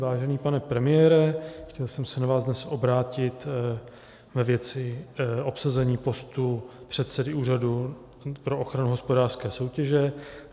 Vážený pane premiére, chtěl jsem se na vás dnes obrátit ve věci obsazení postu předsedy Úřadu pro ochranu hospodářské soutěže.